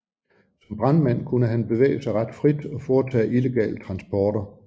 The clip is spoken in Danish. Som brandmand kunne han bevæge sig ret frit og foretage illegale transporter